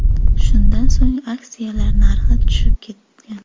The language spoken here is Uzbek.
Shundan so‘ng, aksiyalar narxi tushib ketgan .